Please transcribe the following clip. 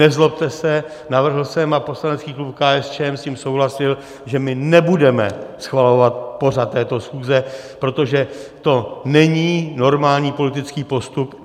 Nezlobte se, navrhl jsem, a poslanecký klub KSČM s tím souhlasil, že my nebudeme schvalovat pořad této schůze, protože to není normální politický postup.